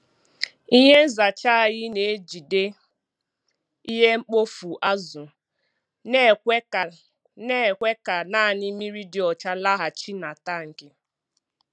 Ihe nzacha anyị na-ejide ihe mkpofu azụ na-ekwe ka na-ekwe ka naanị mmiri dị ọcha laghachi na tankị.